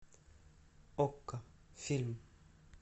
окко фильм